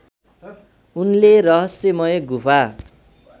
उनले रहस्यमय गुफा